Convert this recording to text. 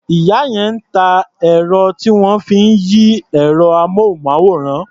Ìyá yẹn ń ta ẹ̀rọ tí wọ́n fi ń yí ẹ̀rọ-amóhùnmáwòrán.